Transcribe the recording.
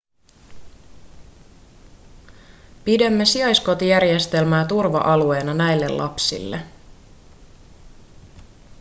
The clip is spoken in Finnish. pidämme sijaiskotijärjestelmää turva-alueena näille lapsille